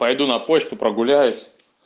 пойду на почту прогуляюсь